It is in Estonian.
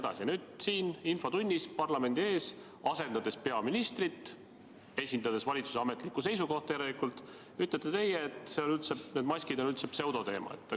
Ja nüüd siin infotunnis parlamendi ees, asendades peaministrit – esindades järelikult valitsuse ametlikku seisukohta –, ütlete teie, et maskid on üldse pseudoteema.